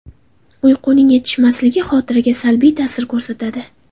Uyquning yetishmasligi xotiraga salbiy ta’sir ko‘rsatadi.